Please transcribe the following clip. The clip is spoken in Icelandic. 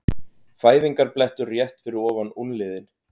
Fæðingarblettur rétt fyrir ofan úlnliðinn.